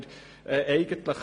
Ja Nein Enthalten